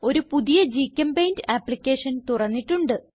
ഒരു പുതിയ GChemPaint application തുറന്നിട്ടുണ്ട്